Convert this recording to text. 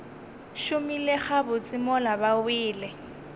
šomile gabotse mola ba wele